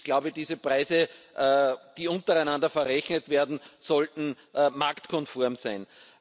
Ich glaube, diese Preise, die untereinander verrechnet werden, sollten marktkonform sein.